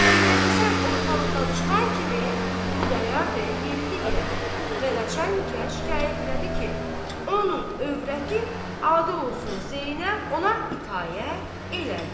Məhəmməd Həsən ortalıqdan çıxan kimi, Xudayar bəy yeridi irəli və Neçə əliyə şikayət elədi ki, onun övrəti adı olsun Zeynəb ona itaət edir.